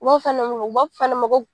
U b'a fɔ nin de ma ko